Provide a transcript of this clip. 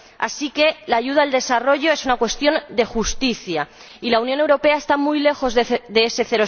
Así que la ayuda al desarrollo es una cuestión de justicia, y la Unión Europea está muy lejos de ese